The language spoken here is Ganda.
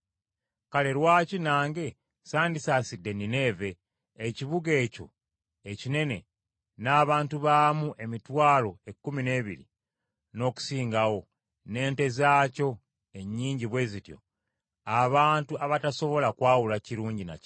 Kale lwaki nange sandisaasidde Nineeve, ekibuga ekyo ekinene n’abantu baamu emitwalo ekkumi n’ebiri n’okusingawo, n’ente zaakyo ennyingi bwe zityo, abantu abatasobola kwawula kirungi na kibi?”